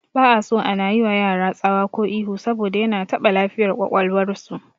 Ba'aso ana yiwa yara tsawa ko ihu saboda yana taɓa lafiyar ƙwaƙwalwar su